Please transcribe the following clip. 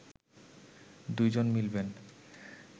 দুই জন মিলবেন